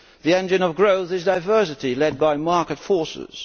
The engine of growth is diversity led by market forces.